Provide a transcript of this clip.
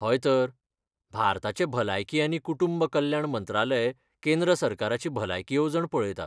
हय तर. भारताचें भलायकी आनी कुटुंब कल्याण मंत्रालय केंद्र सरकाराची भलायकी येवजण पळयता.